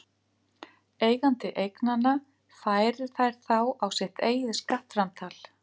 Eigandi eignanna færir þær þá á sitt eigið skattframtal.